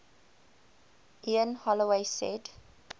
ian holloway said